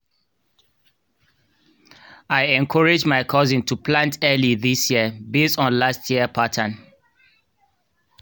i encourage my cousin to plant early this year based on last year pattern